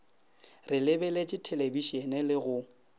re lebeletše thelebišene le go